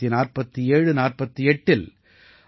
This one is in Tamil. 194748இல் ஐ